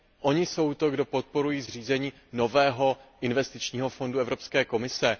oni jsou ti, kdo podporují zřízení nového investičního fondu Evropské komise.